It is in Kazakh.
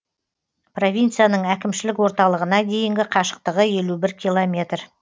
провинцияның әкімшілік орталығына дейінгі қашықтығы елу бір километр